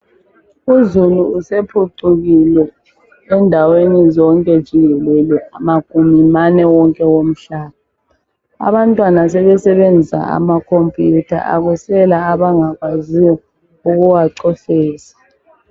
Uzulu usephucukile endaweni zonke jikelele magumi mane wonke womhlaba abantwana sebesebenzisa amakhompuyutha akusela abangakwaziyo ukuwacofoza.